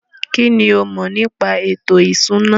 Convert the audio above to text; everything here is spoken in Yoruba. Kínní o mọ̀ nípa ètò ìṣúná?